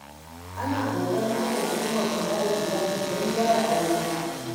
Ana ƙoƙarin kafa hukumar kula da iyali, don gyara Aure.